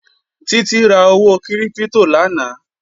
Títí ra owó kírípítò lánàá